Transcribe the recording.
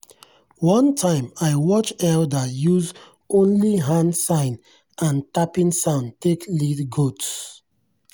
one time i watch elder use only hand sign and tapping sound take lead goats.